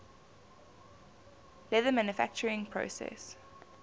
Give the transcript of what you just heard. leather manufacturing process